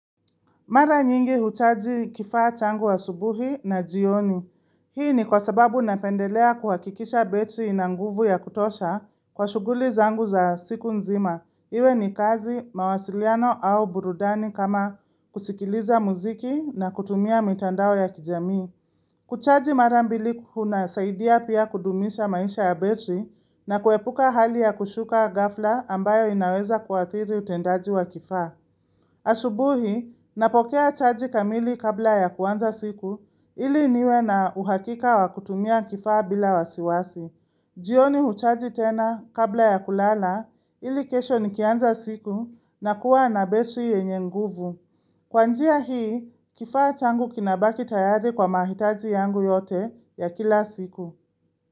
Mara nyingi huchaji kifaa changu asubuhi na jioni. Hii ni kwa sababu napendelea kuhakikisha betri ina nguvu ya kutosha kwa shughuli zangu za siku nzima. Iwe ni kazi mawasiliano au burudani kama kusikiliza muziki na kutumia mitandao ya kijamii. Kuchaji mara mbili kunasaidia pia kudumisha maisha ya betri na kuepuka hali ya kushuka ghafla ambayo inaweza kuadhiri utendaji wa kifaa. Asubuhi, napokea chaji kamili kabla ya kuanza siku ili niwe na uhakika wa kutumia kifaa bila wasiwasi jioni huchaji tena kabla ya kulala ili kesho nikianza siku nakua na betri yenye nguvu Kwa njia hii, kifaa changu kinabaki tayari kwa mahitaji yangu yote ya kila siku.